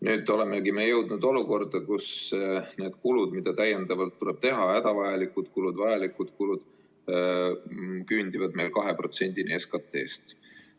Nüüd olemegi jõudnud olukorda, kus need kulud, mida täiendavalt tuleb teha, hädavajalikud kulud, küündivad meil 2%‑ni SKT-st.